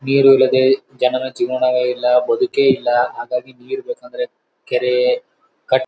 ನೀರು ಇಲ್ಲದೆ ಜನರ ಜೇವನವೇ ಇಲ್ಲ ಬದುಕೇ ಇಲ್ಲ. ಹಾಗಾಗಿ ನೀರ್ ಬೇಕಂದ್ರೆ ಕೆರೆ ಕಟ್ಟೆ --